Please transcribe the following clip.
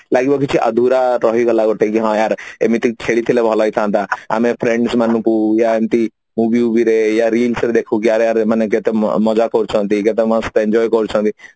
ଲାଗିବ କିଛି ଅଧୁରା ରହିଗଲା ଗୋଟେ ଇଏ ହଁ ୟାର ଏମିତି କି ଖେଳିଥିଲେ ଭଲ ହେଇଥାନ୍ତା ଆମେ friends ମାନଙ୍କୁ ୟା ଏମିତି movie ଭୁବିରେ ୟା Real ରେ ଦେଖୁ କି ଆରେ ଆରେ ଯେତେ ମଜା କରୁଛନ୍ତି ଯେତେ mast enjoy କରୁଛନ୍ତି